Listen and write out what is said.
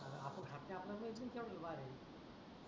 आता आपण खात नाही आपल्या माहीत नाही केवड बार आहे